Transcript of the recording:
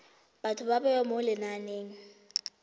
batho ba bewa mo lenaneng